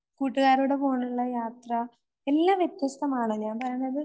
കൂട്ടുകാരോട് പോണുള്ള യാത്ര എല്ലാ വ്യത്യസ്തമാണ്